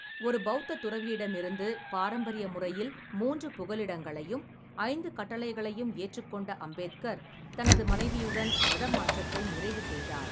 ஒரு பெளத்தத் துறவியிடமிருந்து பாரம்பரிய முறையில் மூன்று புகலிடங்களையும், ஐந்து கட்டளைகளையும் ஏற்றுக்கொண்ட அம்பேத்கர், தனது மனைவியுடன் மதமாற்றத்தை நிறைவு செய்தார்.